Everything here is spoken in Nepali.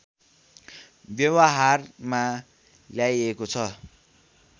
व्यवहारमा ल्याइएको छ